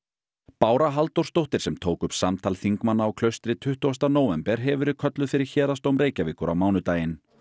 Bára Halldórsdóttir sem tók upp samtal þingmanna á Klaustri tuttugasta nóvember hefur verið kölluð fyrir Héraðsdóm Reykjavíkur á mánudaginn